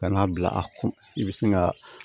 Ka n'a bila a kun i bɛ sin ka